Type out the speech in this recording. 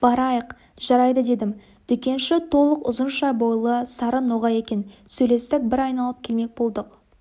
барайық жарайды дедім дүкенші толық ұзынша бойлы сары ноғай екен сөйлестік бір айналып келмек болдық